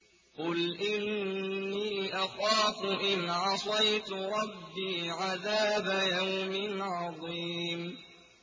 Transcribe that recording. قُلْ إِنِّي أَخَافُ إِنْ عَصَيْتُ رَبِّي عَذَابَ يَوْمٍ عَظِيمٍ